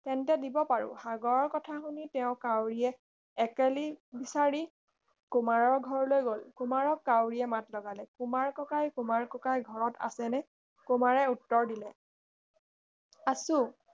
তেন্তে দিব পাৰো সাগৰৰ কথা শুনি তেও কাউৰীয়ে একেলি বিচাৰি কুমাৰৰ ঘৰলৈ গল কুমাৰক কাউৰীয়ে মাত লগালে কুমাৰ ককাই কুমাৰ ককাই ঘৰত আছেনে কুমাৰে উত্তৰ দিলে আছো